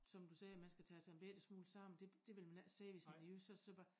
Som du sagde man skal tage sig en bette smule sammen det vil man ikke sige hvis man er jysk så det så bare